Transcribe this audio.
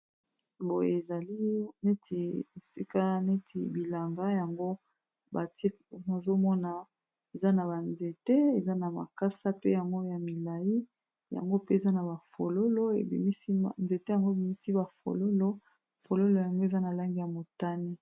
Boye ezali neti esikaya neti bilanga yango bati nazomona eza na banzete eza na makasa pe yango ya milai yango pe eza na bafololo ebimisi nzete yango ebimisi bafololo fololo yango eza na lange ya motani